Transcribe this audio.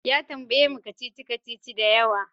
Ya tambaye mu kacici-kacici da yawa.